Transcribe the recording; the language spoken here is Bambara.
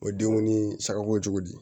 O ye denkundi cogo di